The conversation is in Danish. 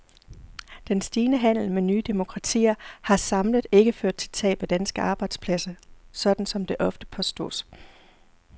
Den stigende handel med de nye demokratier har samlet ikke ført til tab af danske arbejdspladser, sådan som det ofte påstås.